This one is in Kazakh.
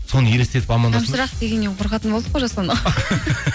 соны елестетіп дегеннен қорқатын болдық қой жасұлан